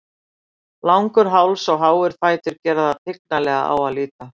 Langur háls og háir fætur gera þá tignarlega á að líta.